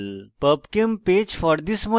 pubchem page for this molecule